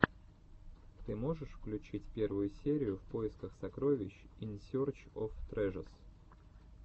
ты можешь включить первую серию в поисках сокровищ ин серч оф трэжэс